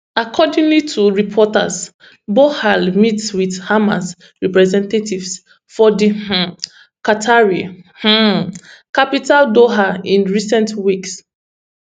accordingly to reports bohal meet wit hamas representatives for di um qatari um capital doha in recent weeks